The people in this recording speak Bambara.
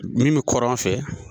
Min bɛ kɔrɔn fɛ